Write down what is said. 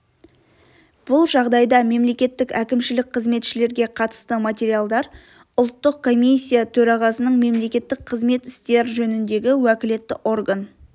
бұл жағдайда мемлекеттік әкімшілік қызметшілерге қатысты материалдар ұлттық комиссия төрағасының мемлекеттік қызмет істер жөніндегі уәкілетті орган